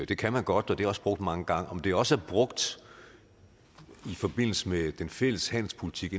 det kan man godt og det er også brugt mange gange om det også er brugt i forbindelse med den fælles handelspolitik